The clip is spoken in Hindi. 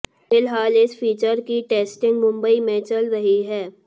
फिलहाल इस फीचर की टेस्टिंग मुंबई में चल रही है